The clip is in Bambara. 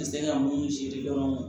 N tɛ se ka mun siri dɔrɔn